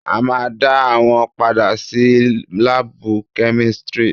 A ma dá wọn padà sí lábù kẹ́místrì.